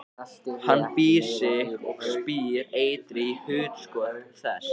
Hann býr um sig og spýr eitri í hugskot þess.